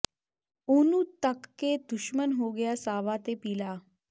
ਉਹਨੂੰ ਤਕ ਕੇ ਦੁਸ਼ਮਨ ਹੋ ਗਿਆ ਸਾਵਾ ਤੇ ਪੀਲਾ